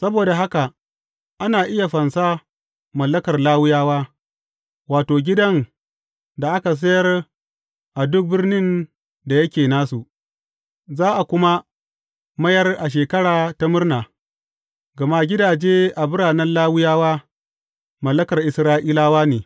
Saboda haka ana iya fansa mallakar Lawiyawa, wato, gidan da aka sayar a duk birnin da yake nasu, za a kuma mayar a Shekara ta Murna, gama gidaje a biranen Lawiyawa, mallakar Isra’ilawa ne.